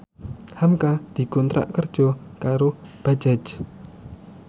hamka dikontrak kerja karo Bajaj